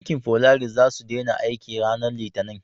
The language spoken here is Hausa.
Bankin folaris za su dena aiki ranar litani